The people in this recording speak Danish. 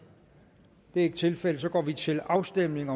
det er ikke tilfældet så går vi til afstemning